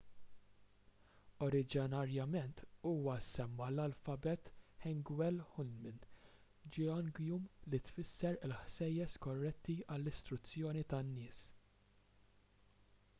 oriġinarjament huwa semma l-alfabet hangeul hunmin jeongeum li tfisser il-ħsejjes korretti għall-istruzzjoni tan-nies